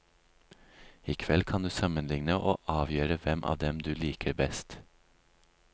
I kveld kan du sammenligne og avgjøre hvem av dem du liker best.